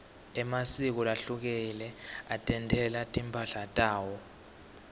emasiko lahlukile atentela timphahla tawo